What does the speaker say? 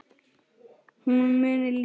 Hún mun lifa.